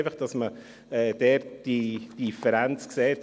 Deshalb muss man diese Differenz sehen: